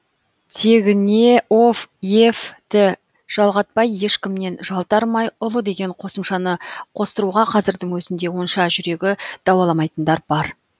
тегіне ов ев ті жалғатпай ешкімнен жалтармай ұлы деген қосымшаны қостыруға қазірдің өзінде онша жүрегі дауаламайтындар бар